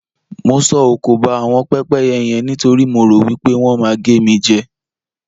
Mo sọ òkò ba àwọn pẹ́pẹ́yẹ yen nítorí mo rò wí pé wọ́n máa gé mi jẹ.